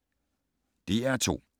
DR2